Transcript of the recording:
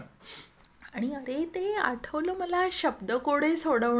आणि अरे आणि ते आठवलं मला शब्द कोड ही सोडवणं.